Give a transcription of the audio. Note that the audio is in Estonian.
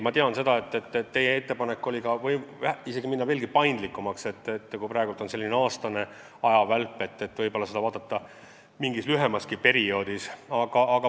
Ma tean, et teie ettepanek oli võimaldada veelgi suuremat paindlikkust, et võib-olla vaadata seda mingis lühemaski perioodis kui aasta.